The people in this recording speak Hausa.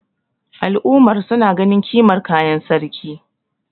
al'ummar suna ganin kimar kayan sarki